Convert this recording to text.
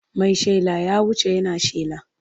Mai shela ya wuce yana shela.